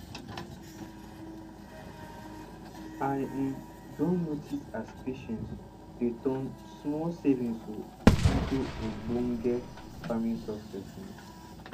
i um don notice as patience dey turn small savings oh into ogbonge farming success um